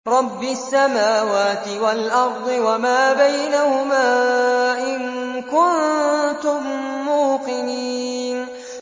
رَبِّ السَّمَاوَاتِ وَالْأَرْضِ وَمَا بَيْنَهُمَا ۖ إِن كُنتُم مُّوقِنِينَ